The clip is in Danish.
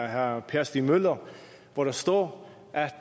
herre per stig møller hvor der står at